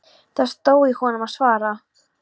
Það stóð í honum að svara.